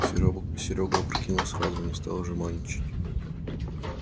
серёга опрокинул сразу не стал жеманничать